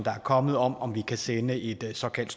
er kommet om om vi kan sende et såkaldt